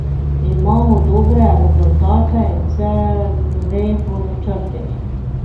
Imamo dobre rezultate in vse gre po načrtih.